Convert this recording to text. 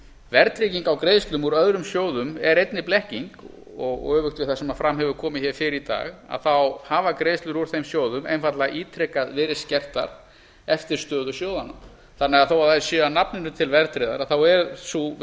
verðtrygging á greiðslum úr öðrum sjóðum er einnig blekking og öfugt við það sem fram hefur komið hér fyrr í dag hafa greiðslur úr þeim sjóðum einfaldlega ítrekað verið skertar eftir stöðu sjóðanna þannig að þó að þær séu að nafninu til verðtryggðar er sú